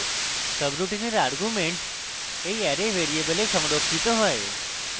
সাবরুটিনের arguments এই array ভ্যারিযেবলে সংরক্ষিত হয়